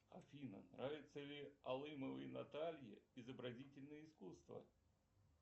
афина нравится ли алымовой наталье изобразительное искусство